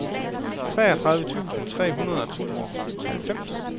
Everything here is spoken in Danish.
treogtredive tusind tre hundrede og tooghalvfems